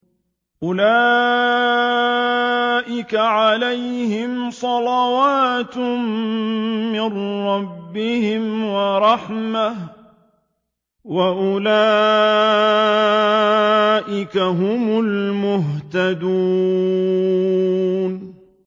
أُولَٰئِكَ عَلَيْهِمْ صَلَوَاتٌ مِّن رَّبِّهِمْ وَرَحْمَةٌ ۖ وَأُولَٰئِكَ هُمُ الْمُهْتَدُونَ